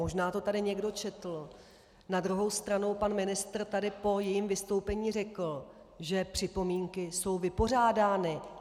Možná to tady někdo četl, na druhou stranu pan ministr tady po jejím vystoupení řekl, že připomínky jsou vypořádány.